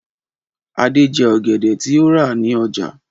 Adé jẹ ọ̀gẹ̀dẹ̀ tí ó rà ní ọjà.